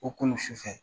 O kolo sufɛ